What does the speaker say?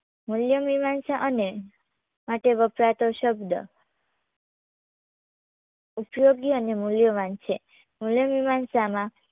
મૂલ્ય મીમાંસા અને માટે વપરાતો શબ્દ ઉપયોગી અને મૂલ્યવાન છે મૂલ્ય મીમાંસામાં